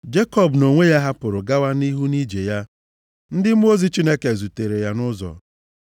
Jekọb nʼonwe ya hapụrụ gawa nʼihu nʼije ya. Ndị mmụọ ozi Chineke zutere ya nʼụzọ.